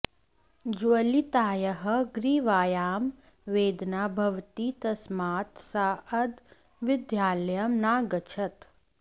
ज्वलितायाः ग्रीवायां वेदना भवति तस्मात् सा अद्य विद्यालयं नागच्छत्